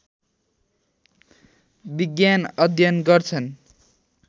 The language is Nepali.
विज्ञान अध्ययन गर्छन्